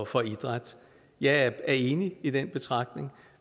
for idræt jeg er enig i den betragtning